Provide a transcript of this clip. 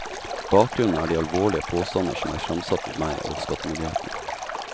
Bakgrunnen er de alvorlige påstander som er fremsatt mot meg og skattemyndighetene.